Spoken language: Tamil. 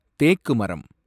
தேக்கு மரம்